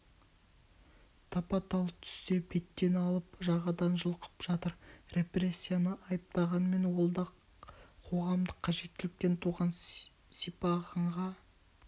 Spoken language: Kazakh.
тапа-тал түсте беттен алып жағадан жұлқып жатыр репрессияны айыптағанмен ол да қоғамдық қажеттіліктен туған сипағанға